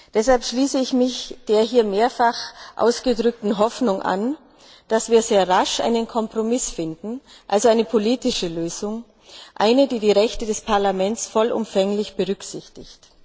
Deshalb schließe ich mich der hier mehrfach ausgedrückten Hoffnung an, dass wir sehr rasch einen Kompromiss finden, also eine politische Lösung, eine, die die Rechte des Parlaments vollumfänglich berücksichtigt.